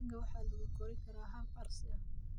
Digaagga waxaa lagu korin karaa hab casri ah.